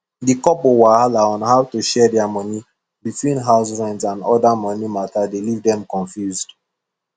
the couple wahala on how to share their money between house rent and other money matter dey leave dem confused